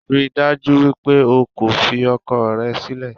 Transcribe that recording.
Ríi dájú wípé o kò fi ọkọ rẹ sílẹ̀